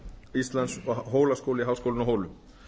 íslands og hólaskóli háskólinn á hólum